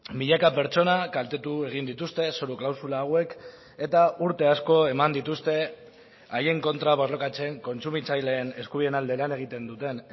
milaka pertsona kaltetu egin dituzte zoru klausula hauek eta urte asko eman dituzte haien kontra borrokatzen kontsumitzaileen eskubideen alde lan egiten duten